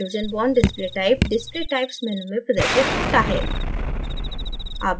hydrogen bond display type display types menu में प्रदर्शित होता है